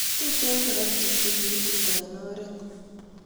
Tuten karatik che kikitumnda en oret